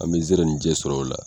An bɛ sɛrɛnin jɛ sɔrɔ o la.